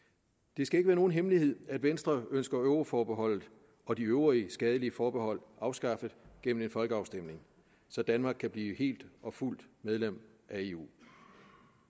det skal ikke være nogen hemmelighed at venstre ønsker euroforbeholdet og de øvrige skadelige forbehold afskaffet gennem en folkeafstemning så danmark kan blive helt og fuldt medlem af eu